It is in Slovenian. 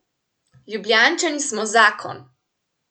Ljubljančani smo zakon!